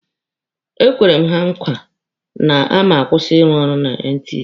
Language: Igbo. Ekwere m ha nkwa na a ma-akwụsị ịrụ ọrụ na NTA.